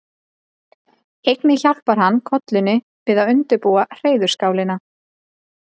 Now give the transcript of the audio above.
Einnig hjálpar hann kollunni við að undirbúa hreiðurskálina.